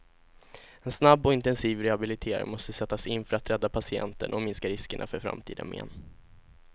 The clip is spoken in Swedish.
En snabb och intensiv rehabilitering måste sättas in för att rädda patienten och minska riskerna för framtida men.